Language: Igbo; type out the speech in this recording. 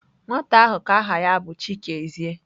Nwata ahu ka aha ya bu Chikezie.